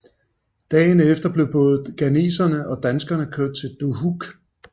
Allerede dagen efter blev både Ghanesere og Danskere kørt til Dohuk